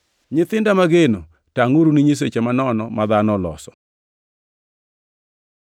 Nyithinda mageno, tangʼuru ni nyiseche manono ma dhano oloso.